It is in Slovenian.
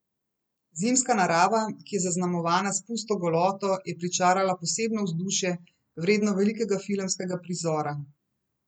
Zimska narava, ki je zaznamovana s pusto goloto, je pričarala posebno vzdušje, vredno velikega filmskega prizora.